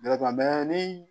ni